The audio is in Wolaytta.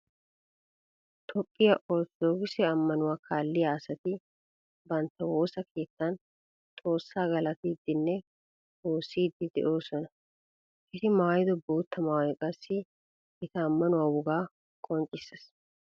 Toophphiya orttodookise ammanuwa kaalliya asatti bantta woosa keettan xoosa galattiidinne woosidde de'osonna. Etti maayido bootta maayoy qassi etta ammanuwa wogaa qoncciseess.